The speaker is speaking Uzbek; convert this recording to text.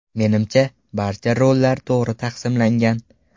Menimcha, barcha rollar to‘g‘ri taqsimlangan.